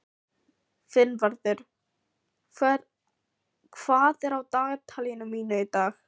Finnvarður, hvað er á dagatalinu mínu í dag?